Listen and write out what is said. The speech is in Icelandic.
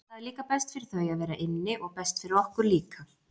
Það er líka best fyrir þau að vera inni og best fyrir okkur líka.